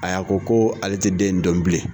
a ko ko ale ti den in don bilen